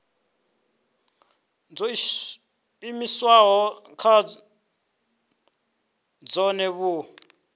dzo iimisaho nga dzohe vhu